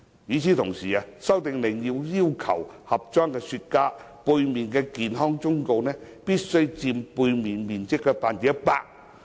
與此同時，《修訂令》要求盒裝雪茄產品背面的健康忠告圖像必須佔包裝背面面積的 100%。